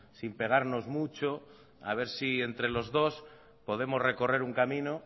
sin pegarnos mucho a ver si entre los dos podemos recorrer un camino